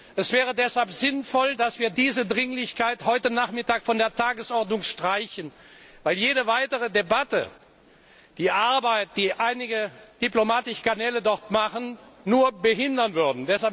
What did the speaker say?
Es wäre deshalb sinnvoll, dass wir diese Dringlichkeit heute Nachmittag von der Tagesordnung streichen, weil jede weitere Debatte die Arbeit, die einige diplomatische Kanäle dort machen, nur behindern würde.